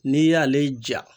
N'i y'ale ja